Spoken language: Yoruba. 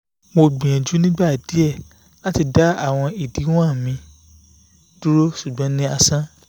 mo gbiyanju ni igba diẹ lati da awọn idiwọn mi duro ṣugbọn ni asan